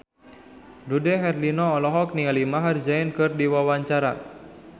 Dude Herlino olohok ningali Maher Zein keur diwawancara